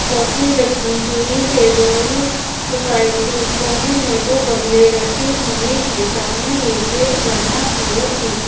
coffee रखी हुई है दोनों साइड दूर कोने में दो गमले रखे हुए हैं सामने एक गेट बना है और पीछे--